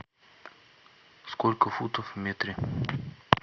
сколько футов в метре